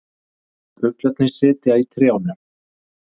Fuglarnir sitja í trjánum.